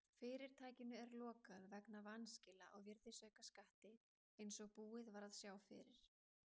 Fyrirtækinu er lokað vegna vanskila á virðisaukaskatti eins og búið var að sjá fyrir.